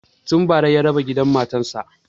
Tun bara ya raba gidan matan sa